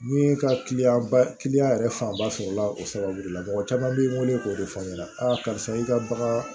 N'i ye kaliya ba yɛrɛ fanba sɔrɔ la o sababu de la mɔgɔ caman b'i weele k'o de fɔ aw ɲɛna aa karisa i ka baga